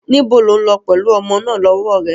Níbo ni o ń lọ pẹ̀lú ọmọ náà lọ́wọ́ rẹ?